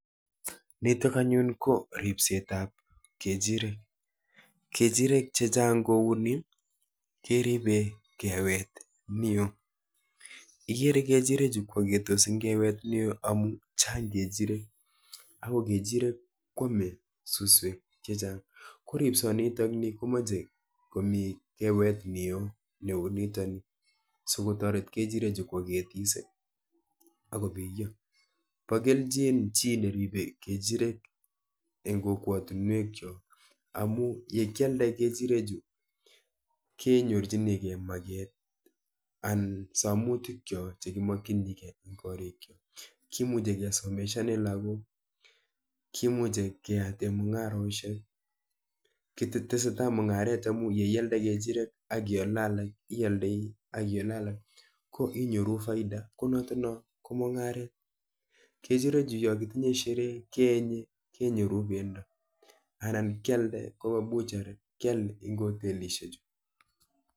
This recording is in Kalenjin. Nitok anyun, ko ribsetab kejirek. Kejirek chechang' kouni keribe kewet neoo. Igere kejirek chu kwagetos eng' kewet neo, amu chang' kejirek ago kejirek kwame suswek chechang'. Ko ripsot nitoni komache komi kewet neo neu nitoni, sikotoret kejirek chu kwagetis, akobiyo. Bo kelchin chi neribe kejirek eng' kokwotunwek chok, amu yekialde kejirek chu, kenyorchinikeiy maget anan samutikyok che kimakichinikeiy eng' korik chok. Kimuche kesomeshane lagok, kimuche keyate mung'aroshek, ketetesetai mung'aret amu yeialde kejiriet, akiale alak, ialdoi akiale alak, ko inyoru faida, ko notono ko mung'aret. Kejirekchu yokitinye sherehe, keenye kenyoru pendo anan kialde koba butchery. Kial eng' hotelishek chu